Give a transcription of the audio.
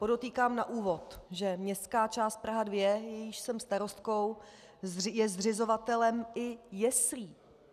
Podotýkám na úvod, že Městská část Praha 2, jejíž jsem starostkou, je zřizovatelem i jeslí.